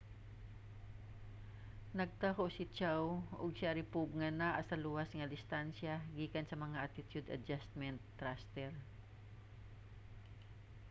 nagtaho si chiao ug sharipov nga naa sa luwas nga distansya gikan sa mga attitude adjustment thruster